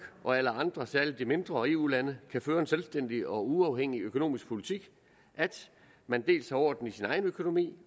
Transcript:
og alle andre særlig de mindre eu lande kan føre en selvstændig og uafhængig økonomisk politik at man dels har orden i sin egen økonomi